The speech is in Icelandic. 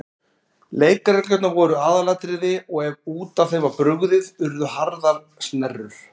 Leikreglurnar voru aðalatriði og ef út af þeim var brugðið urðu harðar snerrur.